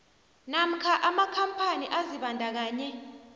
namkha amakhampani azibandakanye